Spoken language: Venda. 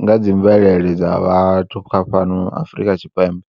nga dzi mvelele dza vhathu kha fhano Afrika Tshipembe.